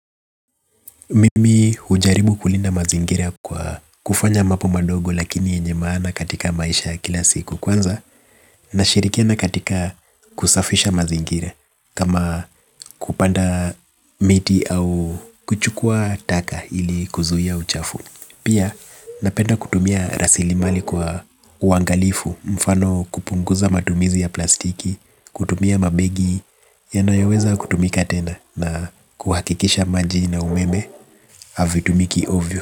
Mimi hujaribu kulinda mazingira kwa kufanya mambo madogo lakini yenye maana katika maisha ya kila siku kwanza. Nashirikiana katika kusafisha mazingira kama kupanda miti au kuchukua taka ili kuzuia uchafu. Pia napenda kutumia rasilimali kwa uangalifu mfano kupunguza matumizi ya plastiki. Kutumia mabegi yanoyoweza kutumika tena na kuhakikisha maji na umeme havitumiki ovyo.